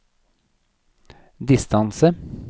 distance